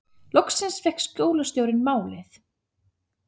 Loksins fékk skólastjórinn málið